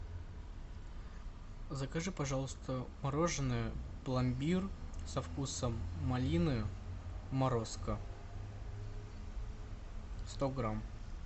закажи пожалуйста мороженое пломбир со вкусом малины морозко сто грамм